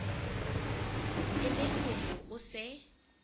e le hore o se